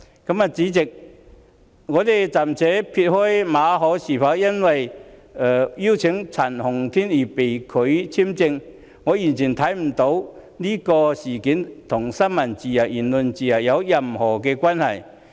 代理主席，我暫且撇開馬凱是否因為邀請陳浩天演講而被拒發簽證，因為我完全看不出這事與新聞自由、言論自由有任何關係。